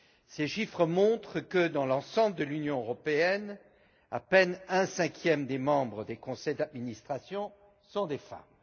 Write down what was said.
Ces chiffres montrent que, dans l'ensemble de l'Union européenne, à peine un cinquième des membres des conseils d'administration sont des femmes.